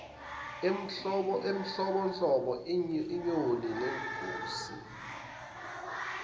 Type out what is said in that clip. enhlobonhlobo iyona lengosi